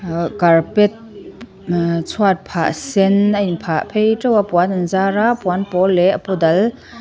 ahh carpet ahh chhuatphah sen a in phah phei teuh a puan an zar a puan pawl leh a pawl dal --